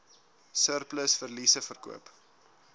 surplus verliese verkoop